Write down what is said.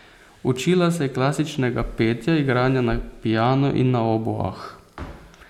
Učila se je klasičnega petja, igranja na piano in na oboah.